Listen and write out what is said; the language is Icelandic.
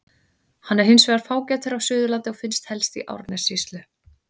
Hann er hins vegar fágætari á Suðurlandi og finnst helst í Árnessýslu.